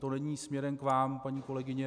To není směrem k vám, paní kolegyně.